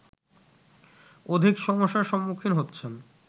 অধিক সমস্যার সম্মুখীন হচ্ছেন